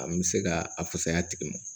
A n bɛ se ka a fusaya tigi ma